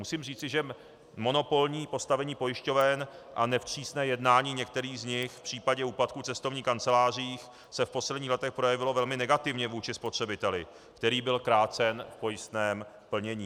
Musím říci, že monopolní postavení pojišťoven a nevstřícné jednání některých z nich v případě úpadku cestovních kanceláří se v posledních letech projevilo velmi negativně vůči spotřebiteli, který byl krácen v pojistném plnění.